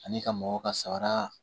Ani ka mɔgɔw ka sabara